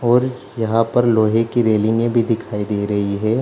और यहाँ पर लोहे की रैलिंगे भी दिखाई दे रही है ।